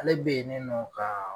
Ale be yen ni nɔ kaa